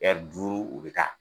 duuru u be taa.